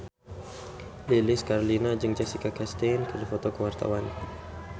Lilis Karlina jeung Jessica Chastain keur dipoto ku wartawan